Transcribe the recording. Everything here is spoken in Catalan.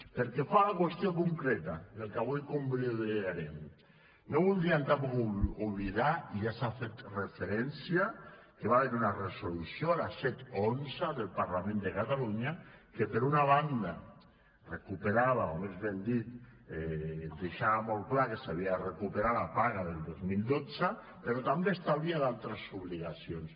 pel que fa a la qüestió concreta del que avui convalidarem no voldríem tampoc oblidar i ja s’hi ha fet referència que va haver hi una resolució la set xi del parlament de catalunya que per una banda recuperava o més ben dit deixava molt clar que s’havia de recuperar la paga del dos mil dotze però també establia altres obligacions